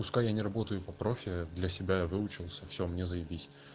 пускай я не работаю по профилю для себя я выучился всё мне заебись